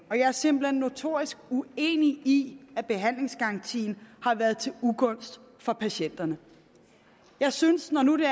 og jeg er simpelt hen notorisk uenig i at behandlingsgarantien har været til ugunst for patienterne jeg synes når nu det